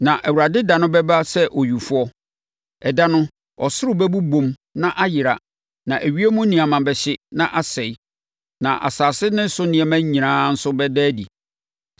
Na Awurade da no bɛba sɛ owifoɔ. Ɛda no, ɔsoro bɛbobom na ayera na ewiem nneɛma bɛhye na asɛe na asase ne so nneɛma nyinaa nso bɛda adi.